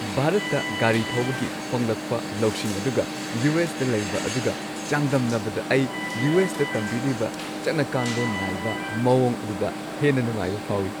ꯚꯥꯔꯠꯇ ꯒꯥꯔꯤ ꯊꯧꯕꯒꯤ ꯐꯪꯂꯛꯄ ꯂꯧꯁꯤꯡ ꯑꯗꯨꯒ ꯌꯨ. ꯑꯦꯁ. ꯗ ꯂꯩꯕ ꯑꯗꯨꯒ ꯆꯥꯡꯗꯝꯅꯕꯗ, ꯑꯩ ꯌꯨ. ꯑꯦꯁ. ꯇ ꯇꯝꯕꯤꯔꯤꯕ ꯆꯠꯅꯀꯥꯡꯂꯣꯟ ꯅꯥꯏꯕ ꯃꯑꯣꯡ ꯑꯗꯨꯗ ꯍꯦꯟꯅ ꯅꯨꯡꯉꯥꯏꯕ ꯐꯥꯎꯏ ꯫